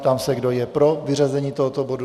Ptám se, kdo je pro vyřazení tohoto bodu.